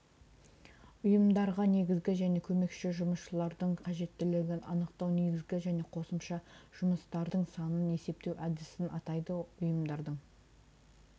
ұйымдарға негізгі және көмекші жұмысшылардың қажеттілігін анықтау негізгі және қосымша жұмысшылардың санын есептеу әдісін атайды ұйымдардың